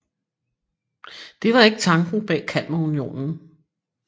Det var ikke tanken bag Kalmarunionen